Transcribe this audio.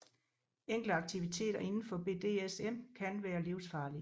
Enkelte aktiviteter indenfor BDSM kan være livsfarlige